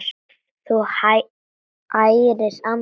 Þú ærir andana!